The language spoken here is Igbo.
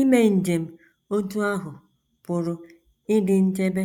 Ime njem otú ahụ pụrụ ịdị nchebe